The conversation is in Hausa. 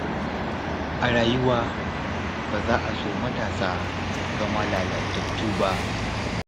A rayuwa, ba za a so matasa su zama lalatattu ba.